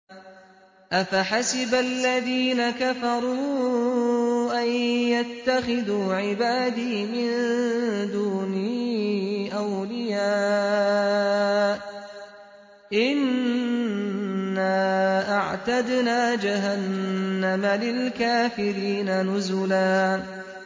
أَفَحَسِبَ الَّذِينَ كَفَرُوا أَن يَتَّخِذُوا عِبَادِي مِن دُونِي أَوْلِيَاءَ ۚ إِنَّا أَعْتَدْنَا جَهَنَّمَ لِلْكَافِرِينَ نُزُلًا